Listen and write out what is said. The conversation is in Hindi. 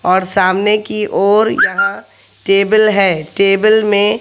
और सामने की और यहां टेबल है टेबल में--